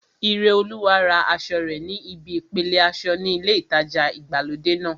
Ireolúwa ra aṣọ rẹ̀ ní ibi ìpele aṣọ ní ilé ìtajà ìgbàlódé náà